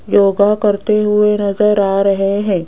योगा करते हुए नजर आ रहे हैं।